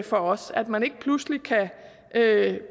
for os at man ikke pludselig kan